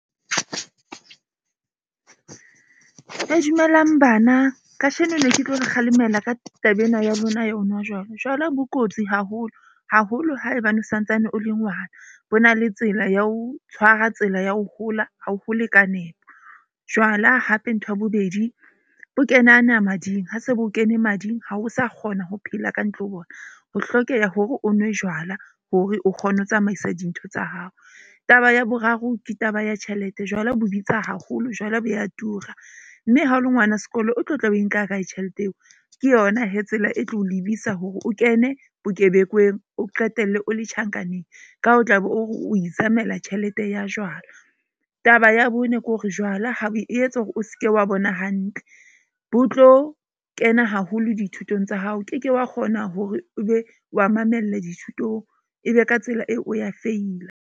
Dumelang bana kajeno ne ke tlo o kgalemela ka taba ena ya lona ya ho nwa jwala. Jwala bo kotsi haholo haholo haebane o santsane o le ngwana. Bo na le tsela ya ho tshwara tsela ya ho hola ha o hole ka nepo. Jwala hape ntho ya bobedi bo kenana mading. Ha se bo kene mading ha o sa kgona ho phela ka ntle ho bona. Ho hlokeha hore o nwe jwala hore o kgone ho tsamaisa dintho tsa hao. Taba ya boraro ke taba ya tjhelete jwale bo bitsa haholo. Jwala bo ya tura. Mme ha o le ngwana sekolo, o tlo tla o e nka kae tjhelete eo? Ke yona tsela e tlo lebisa hore o kene bokebekweng, o qetelle o le tjhankaneng, ka o tlabe o re o izamela tjhelete ya jwala. Taba ya bone ke hore jwala e etsa hore o ske wa bona hantle. Bo tlo kena haholo dithutong tsa hao, o keke wa kgona hore o be wa mamella dithutong, ebe ka tsela eo o ya feila.